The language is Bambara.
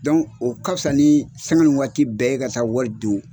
Dɔnku o ka fisa ni sanga ni waati bɛɛ e ka taa wari don